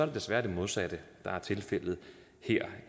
det desværre det modsatte der er tilfældet